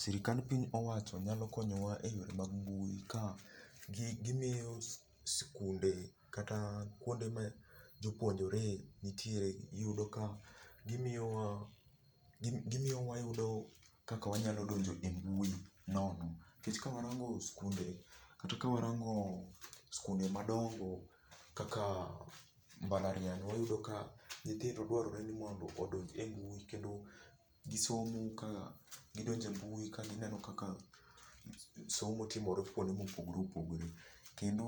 Sirkand piny owacho nyalo konyowa eyore mag mbui ka gimiyo sikunde kata kuonde ma jopuonjre nitiere iyudo ka gimiyo wayudo kaka wanyalo do njo e mbui no. Nikech ka warango sikunde kata ka warango sikunde madongo kaka mbalariany, iyudo ka nyitjhindo dwarore nimondo odonj e mbui kendo gisomo ka gidonjo e mbui kendo gineno kaka somo timore kuonde mopogore opogore. Kendo